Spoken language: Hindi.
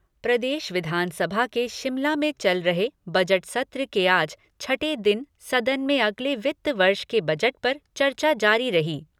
प्रदेश विधानसभा के शिमला में चल रहे बजट सत्र के आज छठे दिन सदन में अगले वित्त वर्ष के बजट पर चर्चा जारी रही।